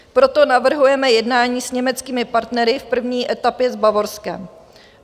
Proto navrhujeme jednání s německými partnery, v první etapě s Bavorskem.